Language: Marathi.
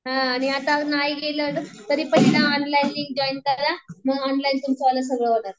हं आता नाही केलं ना तरी ऑनलाईन लिंक जॉईन करा म ऑनलाईन तुमचं सगळं